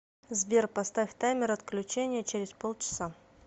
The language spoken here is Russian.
сбер поставь таймер отключения через полчаса